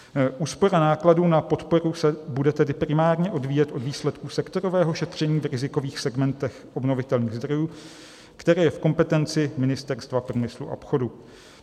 Úspora nákladů na podporu se bude tedy primárně odvíjet od výsledků sektorového šetření v rizikových segmentech obnovitelných zdrojů, které je v kompetenci Ministerstva průmyslu a obchodu.